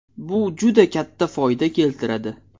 Bu juda katta foyda keltiradi.